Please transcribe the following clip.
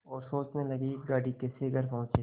और सोचने लगे कि गाड़ी कैसे घर पहुँचे